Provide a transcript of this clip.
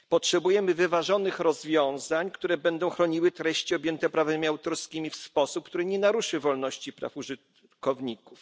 Potrzebujemy wyważonych rozwiązań, które będą chroniły treści objęte prawami autorskim w sposób, który nie naruszy wolności praw użytkowników.